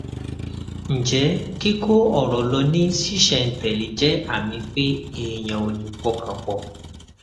ǹjẹ kíkó ọrọ lọ ní ṣísẹntẹlé jẹ àmì pé èèyàn ò lè pọkàn pọ